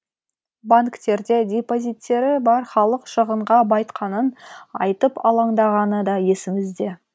банктерде депозиттері бар халық шығынға байытқанын айтып алаңдағаны да есімізде